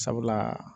Sabula